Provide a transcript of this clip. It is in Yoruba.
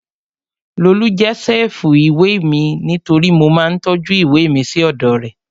Lolú jẹ́ ṣẹ́ẹ̀fù ìwé mi nítorí mo máa ń tọ́jú ìwé mi sí ọ̀dọ̀ rẹ̀